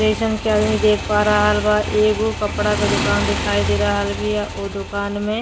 जइसन की आदमी देख पा रहल बा। एगो कपड़ा का दुकान दिखाई दे रहल बिया ओ दुकान मे।